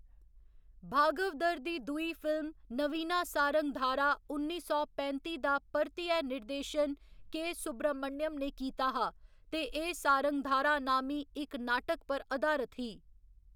भागवदर दी दूई फिल्म नवीना सारंगधारा उन्नी सौ पैंत्ती दा परतियै निर्देशन के. सुब्रमण्यम ने कीता हा ते एह्‌‌ सारंगधारा नामी इक नाटक पर अधारत ही।